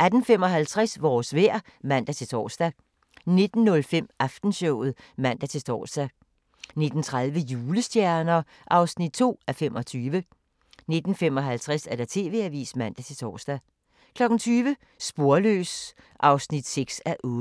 18:55: Vores vejr (man-tor) 19:05: Aftenshowet (man-tor) 19:30: Julestjerner (2:25) 19:55: TV-avisen (man-tor) 20:00: Sporløs (6:8)